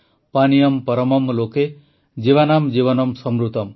ପାନିୟମ୍ ପରମମ୍ ଲୋକେ ଜୀବାନାମ୍ ଜୀବନମ୍ ସମୃତମ୍